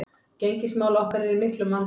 Gengismál okkar eru í miklum vanda